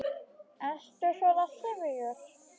Ertu svona syfjuð?